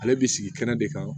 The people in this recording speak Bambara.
Ale bi sigi kɛnɛ de kan